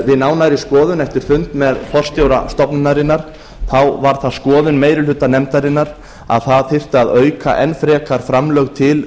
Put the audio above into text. við nánari skoðun eftir fund með forstjóra stofnunarinnar varð það skoðun meiri hluta nefndarinnar að það þyrfti að auka enn frekar framlög til